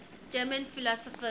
german philosophers